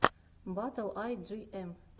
батл ай джи эм